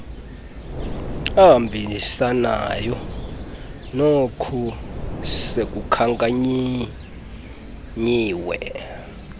ahambisanayo nook sekukhankanyiwe